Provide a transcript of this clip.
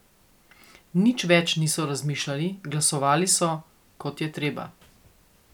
Nič več niso razmišljali, glasovali so, kot je treba ...